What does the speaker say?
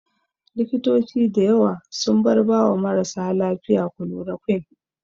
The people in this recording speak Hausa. Likitoci da yawa sun bar ba wa marasa lafiya kulorokwin